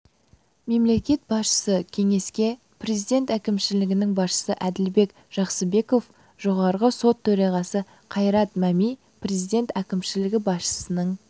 мемлекет басшысы кеңеске президент әкімшілігінің басшысы әділбек жақсыбеков жоғарғы сот төрағасы қайрат мәми президент әкімшілігі басшысының